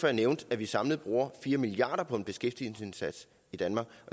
jeg nævnte at vi samlet bruger fire milliard kroner på en beskæftigelsesindsats i danmark